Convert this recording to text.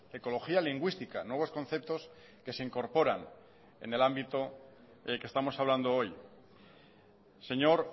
ecología lingüística nuevos conceptos que se incorporan en el ámbito que estamos hablando hoy señor